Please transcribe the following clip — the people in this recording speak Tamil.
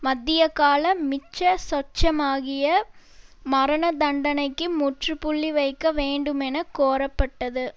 மத்தியகால மிச்சசொச்சமாகிய மரணதண்டனைக்கு முற்று புள்ளி வைக்க வேண்டுமென கோரப்பட்டது